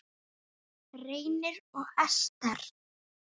Reynir og Esther.